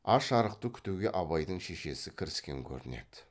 аш арықты күтуге абайдың шешесі кіріскен көрінеді